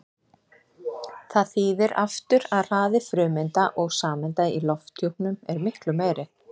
Það þýðir aftur að hraði frumeinda og sameinda í lofthjúpnum er miklu meiri.